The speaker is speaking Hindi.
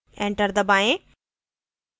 enter दबाएँ